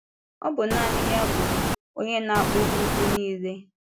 Ọ bụ nanị ya bụ “Onye na-akpụ ugwu niile.”